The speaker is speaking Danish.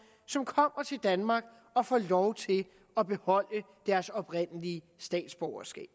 som kommer til danmark og får lov til at beholde deres oprindelige statsborgerskab